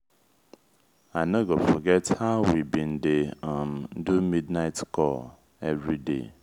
i no go forget how we bin dey um do mid-night call everyday.